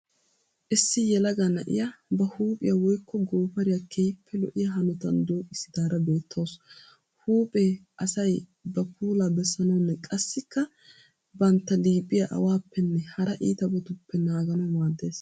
Issi yelaga na'iya ba huuphiya woyikko goofariya keehippe lo'iya hanotan dooqissidaara beettawusu. Huuphe asay ba puula bessanawunne qassikka bantta liiphiya awaappenne hara iitabatuppe naaganawu maaddees.